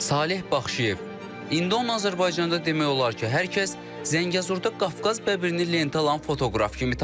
Saleh Baxşıyev, indi onu Azərbaycanda demək olar ki, hər kəs Zəngəzurda Qafqaz bəbirini lentə alan fotoqraf kimi tanıyır.